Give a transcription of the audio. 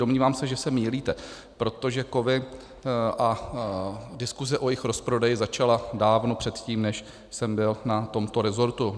Domnívám se, že se mýlíte, protože kovy a diskuze o jejich rozprodeji začala dávno předtím, než jsem byl na tomto rezortu.